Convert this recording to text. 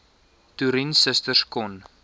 toerien susters kon